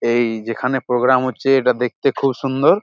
এই যেখানে পোগ্রাম হচ্ছে সেটা দেখতে খুব সুন্দর--